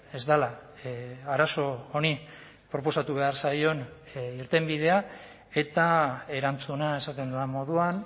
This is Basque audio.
ez dela arazo honi proposatu behar zaion irtenbidea eta erantzuna esaten dudan moduan